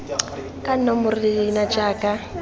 ka nomoro le leina jaaka